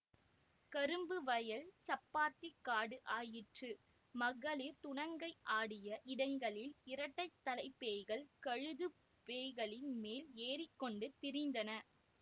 கரும்பு வயல் சப்பாத்திக் காடு ஆயிற்று மகளிர் துணங்கை ஆடிய இடங்களில் இரட்டைத்தலைப் பேய்கள் கழுதுப் பேய்களின் மேல் ஏறிக்கொண்டு திரிந்தன